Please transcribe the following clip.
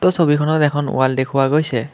ছবিখনত এখন ৱাল দেখুওৱা গৈছে।